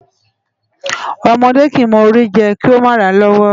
Ọmọdé kìí mọ Ori jẹ kí ó mà ràa lọ́wọ́